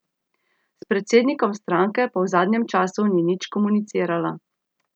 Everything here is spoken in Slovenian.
S predsednikom stranke pa v zadnjem času ni nič komunicirala.